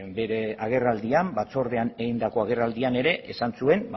bere agerraldian batzordean egindako agerraldian ere esan zuen